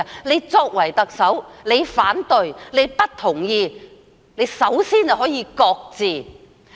她作為特首，如果反對或不同意，首先可以擱置。